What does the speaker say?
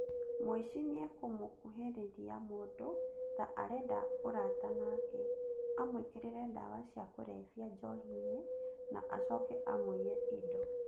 Mũici nĩakũmũkuhĩrĩria mũndũ ta arenda ũrata nake, amũĩkĩrĩre ndawa cia kũrebia njohinĩ na acoke amũiye indo.